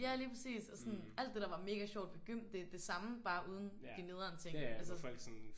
Ja ja lige præcis og sådan alt det der var mega sjovt ved gym det er det samme bare uden de nederen ting altså sådan